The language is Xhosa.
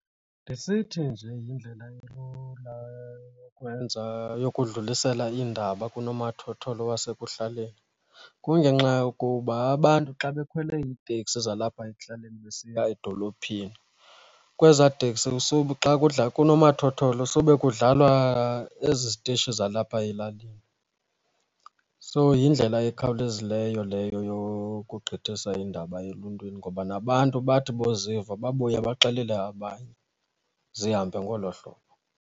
Ndisithi nje yindlela elula yokwenza yokudlulisela iindaba kunomathotholo wasekuhlaleni kungenxa yokuba abantu xa bekhwele iteksi zalapha ekuhlaleni besiya edolophini kwezaa teksi kunomathotholo sube kudlalwa ezi zitishi zalapha elalini. So yindlela ekhawulezileyo leyo yokuqinisa iindaba eluntwini ngoba nabantu bathi boziva babuye baxelele abanye zihambe ngolo hlobo.